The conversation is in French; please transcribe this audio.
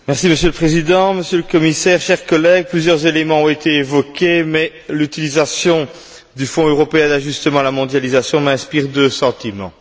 Monsieur le Président, Monsieur le Commissaire, chers collègues, plusieurs éléments ont été évoqués, mais l'utilisation du Fonds européen d'ajustement à la mondialisation m'inspire deux sentiments.